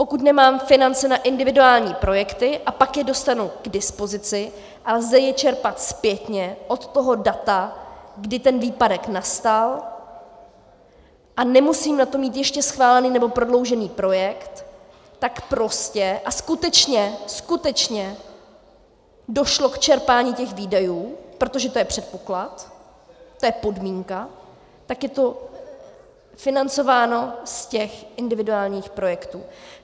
Pokud nemám finance na individuální projekty a pak je dostanu k dispozici a lze je čerpat zpětně od toho data, kdy ten výpadek nastal, a nemusím na to mít ještě schválený nebo prodloužený projekt, tak prostě a skutečně - skutečně - došlo k čerpání těch výdajů, protože to je předpoklad, to je podmínka, tak je to financováno z těch individuálních projektů.